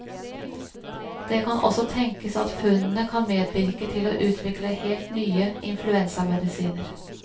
Det kan også tenkes at funnene kan medvirke til å utvikle helt nye influensamedisiner.